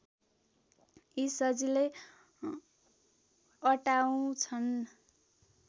यी सजिलै अटाउँछन्